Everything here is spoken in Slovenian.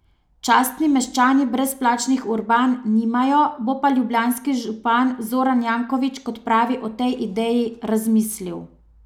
Častni meščani brezplačnih urban nimajo, bo pa ljubljanski župan Zoran Janković, kot pravi, o tej ideji razmislil.